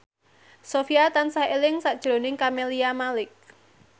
Sofyan tansah eling sakjroning Camelia Malik